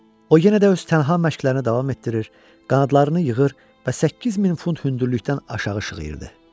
O yenə də öz tənha məşqlərini davam etdirir, qanadlarını yığır və 8 min funt hündürlükdən aşağı şığıyırdı.